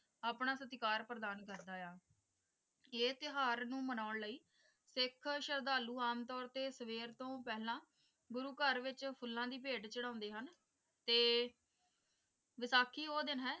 ਆਪਣਾ ਸਤਿਕਾਰ ਪ੍ਰਦਾਨ ਕਰਦਾ ਹੈ ਕਿ ਇਹ ਤਿਉਹਾਰ ਨੂੰ ਮਨਾਉਣ ਦੇ ਲਈ ਸਿੱਖ ਸ਼ਰਧਾਲੂ ਆਮ ਤੌਰ ਤੇ ਸਵੇਰ ਤੋਂ ਪਹਿਲਾਂ ਗੁਰੂ ਘਰ ਵਿਚ ਫੁੱਲਾਂ ਦੀ ਭੇਂਟ ਚੜ੍ਹਾਉਂਦੇ ਹਨ ਤੇ ਵਿਸਾਖੀ ਉਹ ਦਿਨ ਹੈ,